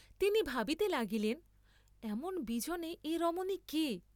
তিনি ভাবিতে লাগিলেন এমন বিজনে এ রমণী কে?